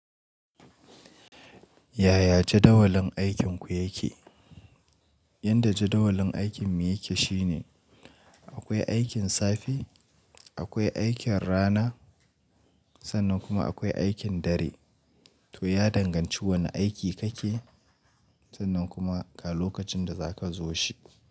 Yaya jadawalin aikinku yake? Yanda jadawalin aikin mu yake shine akwai aikin safe, akwai aikin rana sannan kuma akwai aikin dare. To ya danganci wane aiki kake sannan kuma ga lokacin da za ka zo shi.